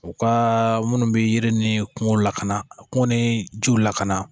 U ka minnu bɛ yiri ni kungo lakana kun ni jiw lakana